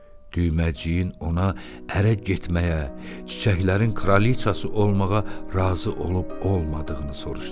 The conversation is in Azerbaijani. Düyməciyin ona ərə getməyə, çiçəklərin kralıçası olmağa razı olub-olmadığını soruşdu.